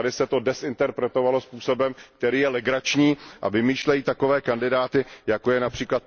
Tady se to dezinterpretovalo způsobem, který je legrační, a skupiny vymýšlejí takové kandidáty, jako je např.